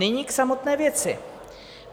Nyní k samotné věci.